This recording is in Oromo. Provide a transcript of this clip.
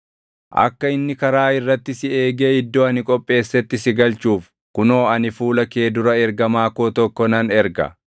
“Akka inni karaa irratti si eegee iddoo ani qopheessetti si galchuuf kunoo ani fuula kee dura ergamaa koo tokko nan erga.